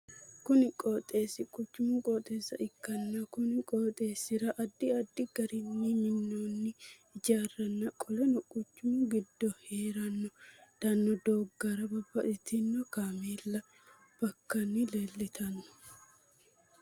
Kunni qooxeesi quchumu qooxeessa ikanna konni qooxeesira addi addi garinni minoonni hijaaranna qoleno quchumu gido heedhano doogara babbaxino kaameella bobakanni leeltano.